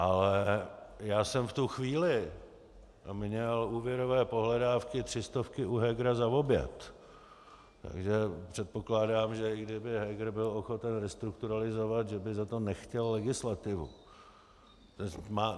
Ale já jsem v tu chvíli měl úvěrové pohledávky tři stovky u Hegera za oběd, takže předpokládám, že i kdyby Heger byl ochoten restrukturalizovat, že by za to nechtěl legislativu.